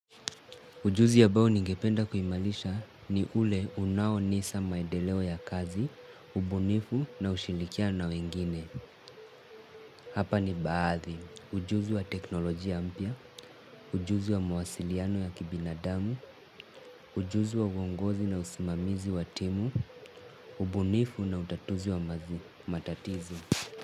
Ujuzi ambao ningependa kuimarisha ni ule unaoonyesha maendeleo ya kazi, ubunifu na ushirikiano na wengine. Hapa ni baadhi. Ujuzi wa teknolojia mpya, ujuzi wa mawasiliano ya kibinadamu, ujuzi wa uongozi na usimamizi wa timu, ubunifu na utatuzi wa matatizo.